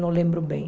Não lembro bem.